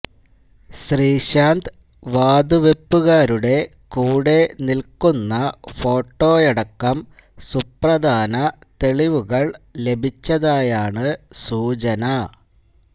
ശ്രീശാന്ത് വാതുവെപ്പുകാരുടെ കൂടെ നില്ക്കുന്ന ഫോട്ടോയടക്കം സുപ്രധാന തെളിവുകള് ലഭിച്ചതായാണ് സൂചന